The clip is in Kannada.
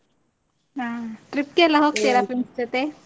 ಹಾ, trip ಗೆಲ್ಲಾ friends ಜೊತೇ?